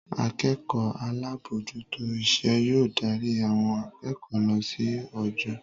Akẹ́kọ̀ọ́ alábòójútó iṣẹ́ yóò darí àwọn akẹ́kọ̀ọ́ lọ sí ojo